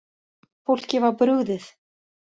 Fólki var brugðið